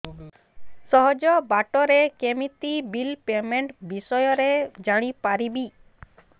ସହଜ ବାଟ ରେ କେମିତି ବିଲ୍ ପେମେଣ୍ଟ ବିଷୟ ରେ ଜାଣି ପାରିବି